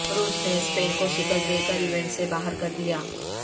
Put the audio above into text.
روس نے اسپین کو شکست دے کر ایونٹ سے باہر کردیا